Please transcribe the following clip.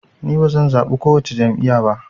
Ni bazan zaɓi kowace jam'iya ba